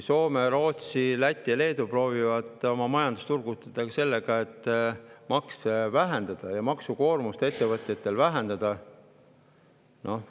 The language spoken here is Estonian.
Soome ja Rootsi, Läti ja Leedu proovivad oma majandust turgutada sellega, et vähendavad makse ja ettevõtete maksukoormust.